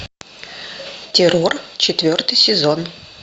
террор четвертый сезон